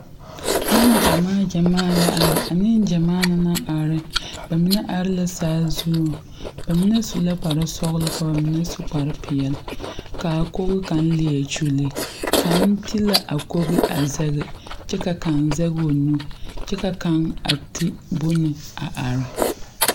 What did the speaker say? Nenɡyamaa ɡyamaa la are a nenɡyamaa na na are ba mine are la saazu ba mine su la kparsɔɡelɔ ka ba mine meŋ su kparpeɛle ka a koɡi kaŋa leɛ kyuli kaŋ te la a koɡi a zɛŋe kyɛ ka kaŋ zɛŋ o nu kyɛ ka kaŋ te bon a are .